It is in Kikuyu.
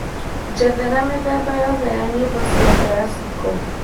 njethera mĩthemba yothe ya nyĩmbo cia classical